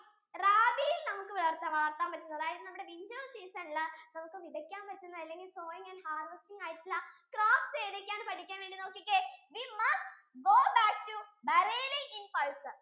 rabi നമുക്ക് വളർത്താൻ പറ്റുന്ന അതായത് നമ്മുടെ winter season ഇല് നമുക്ക് വിതക്കാൻ പറ്റുന്ന അല്ലെങ്കിൽ sowing and harvesting ആയിട്ടുള്ള crops ഏതൊക്കെയാണെന്ന് പഠിക്കാൻ വേണ്ടീട്ട് നോക്കിക്കേ we must go back to bareilly in bison